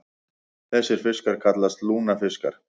Þessir fiskar kallast lungnafiskar.